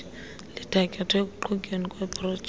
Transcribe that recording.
lithatyathwe ekuqhutyweni kweeprojekthi